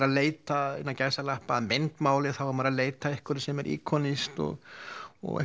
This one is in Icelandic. að leita innan gæsalappa að myndmáli þá er maður að leita að einhverju sem er ikonískt og